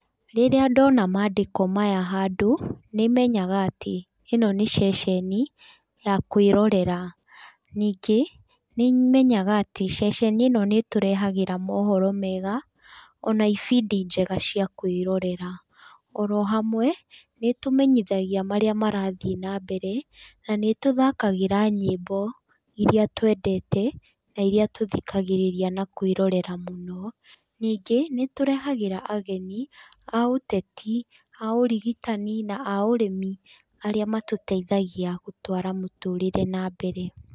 Rĩrĩa ndona mandĩko maya handũ nĩmenyaga atĩ ĩno nĩ ceceni ya kwĩrorera. Ningĩ, nĩmenyaga atĩ ceceni ĩno nĩ ĩtũrehagĩra mohoro mega, ona ibindi njega cia kwĩrorera. Oro hamwe nĩ ĩtũmenyithagia marĩa marathiĩ na mbere na nĩ ĩtũthkagĩra nyĩmbo iria twendete na iria twĩthikagĩrĩria na kwĩrorera mũno. Ningĩ nĩ ĩtũrehagĩra ageni a ũteti, a ũrigĩtani na a ũrĩmi arĩa matũteithagia gũtwara mũtũrĩre na mbere.